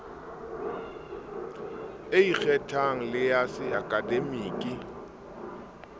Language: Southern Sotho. e ikgethang le ya seakademiki